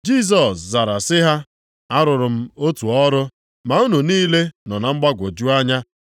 Jisọs zara sị ha, “Arụrụ m otu ọrụ, ma unu niile nọ na mgbagwoju anya.